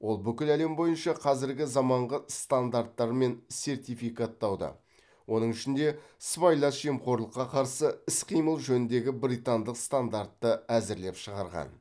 ол бүкіл әлем бойынша қазіргі заманғы стандарттар мен сертификаттауды оның ішінде сыбайлас жемқорлыққа қарсы іс қимыл жөніндегі британдық стандартты әзірлеп шығарған